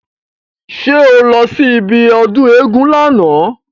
Ṣé o lọ sí ibi ọdún éégún lána?